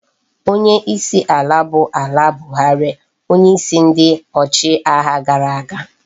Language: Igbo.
Onye isi ala bu ala buhari onye isi ndi ochi agha gara aga